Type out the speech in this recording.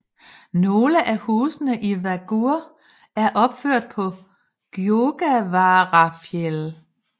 Nogle af husene i Vágur er opført på Gjógavaráfjall